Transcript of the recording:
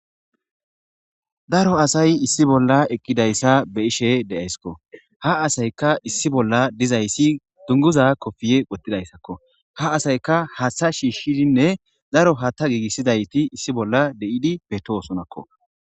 Daro asay issi bolla eqqidayssa be'ishe de'ayskko ha asayka issi bolla dizayssi dunguza kofiye wottidayssakko ha asayka haaththa shiishshidinne daro haatta giigissidayti issi bolla de'idi beettosonakko.